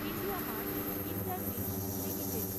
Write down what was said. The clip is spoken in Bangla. IndiaMART Intermesh limited